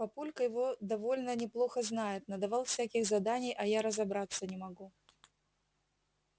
папулька его довольно неплохо знает надавал всяких заданий а я разобраться не могу